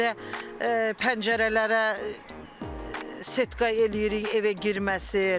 Evdə pəncərələrə setka eləyirik, evə girməsin.